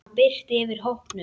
Það birti yfir hópnum.